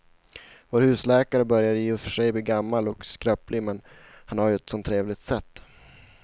Vår husläkare börjar i och för sig bli gammal och skröplig, men han har ju ett sådant trevligt sätt!